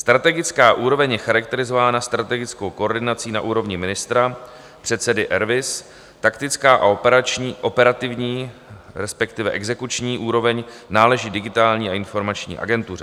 Strategická úroveň je charakterizována strategickou koordinací na úrovni ministra, předsedy RVIS, taktická a operativní, respektive exekuční úroveň náleží Digitální a informační agentuře.